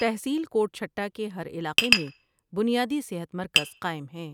تحصیل کوٹ چهٹہ کے ہر علاقے میں بنیادی صحت مرکز قائم ہیں ۔